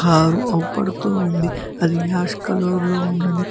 Car అవుపడుతూ ఉంది అది యాష్ కలర్ లో ఉన్నది.